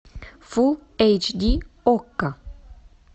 фул эйч ди окко